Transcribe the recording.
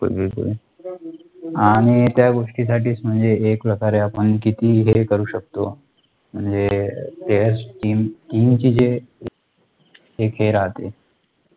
आणि त्या गोष्टीसाठीच म्हणजे एक प्रकारे आपण कितीही हे करू शकतो, म्हणजे, ज्यावेळेस TEAM चे जे एक हे राहते,